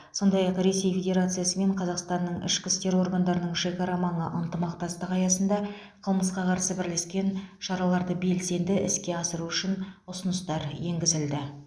сондай ақ ресей федерациясы мен қазақстанның ішкі істер органдарының шекарамаңы ынтымақтастығы аясында қылмысқа қарсы бірлескен шараларды белсенді іске асыру үшін ұсыныстар енгізілді